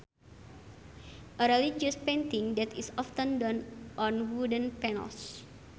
A religious painting that is often done on wooden panels